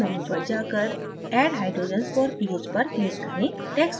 build menu पर जाकर add hydrogens for ph पर click करें